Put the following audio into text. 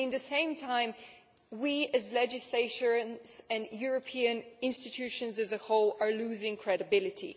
At the same time we as legislators, and European institutions as a whole, are losing credibility.